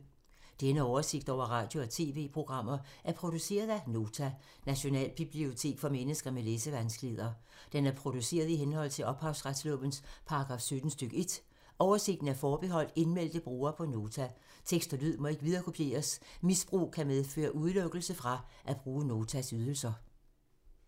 Denne oversigt over radio og TV-programmer er produceret af Nota, Nationalbibliotek for mennesker med læsevanskeligheder. Den er produceret i henhold til ophavsretslovens paragraf 17 stk. 1. Oversigten er forbeholdt indmeldte brugere på Nota. Tekst og lyd må ikke viderekopieres. Misbrug kan medføre udelukkelse fra at bruge Notas ydelser.